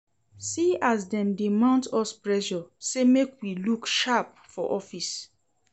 See as dem dey mount us pressure sey make we look sharp for office.